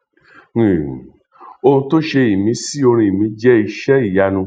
um ohun tó ṣe ìmísí orin mi jẹ iṣẹ ìyanu